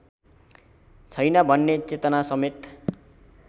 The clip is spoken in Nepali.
छैन भन्ने चेतनासमेत